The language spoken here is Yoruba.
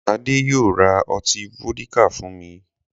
Adé yóò ra ọti fódíkà fún mi.